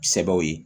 Sɛbɛw ye